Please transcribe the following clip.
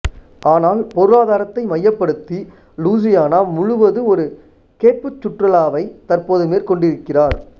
ஆனால் பொருளாதாரத்தை மையப்படுத்தி லூசியானா முழுவது ஒரு கேட்புச் சுற்றுலாவை தற்போது மேற்கொண்டிருக்கிறார்